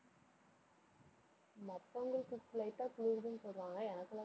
மத்தவங்களுக்கு light ஆ குளிருதுன்னு சொல்றாங்க. எனக்கு எல்லாம்